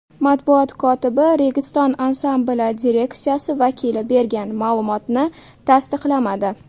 Matbuot kotibi Registon ansambli direksiyasi vakili bergan ma’lumotni tasdiqlamadi.